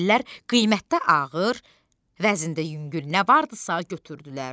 Dəlilər qiymətdə ağır, vəzində yüngül nə vardısa götürdülər.